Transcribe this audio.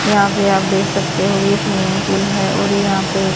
यहां पे आप देख सकते हो यह स्विमिंग पूल है और यहां पे--